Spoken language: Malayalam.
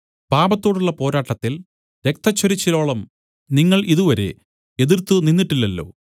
പാപത്തോടുള്ള പോരാട്ടത്തിൽ രക്തച്ചൊരിച്ചിലോളം നിങ്ങൾ ഇതുവരെ എതിർത്ത് നിന്നിട്ടില്ലല്ലോ